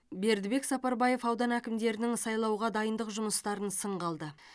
бердібек сапарбаев аудан әкімдерінің сайлауға дайындық жұмыстарын сынға алды